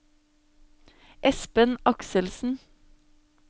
Espen Akselsen